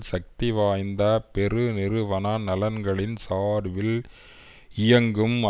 சக்தி வாய்ந்த பெருநிறுவன நலன்களின் சார்பில் இயங்கும்